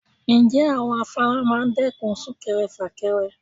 Ǹjẹ́ àwọn afárá máa dẹ́kun súnkẹrẹ fàkẹrẹ?